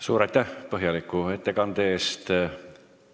Suur aitäh põhjaliku ettekande eest!